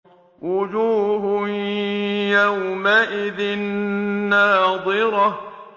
وُجُوهٌ يَوْمَئِذٍ نَّاضِرَةٌ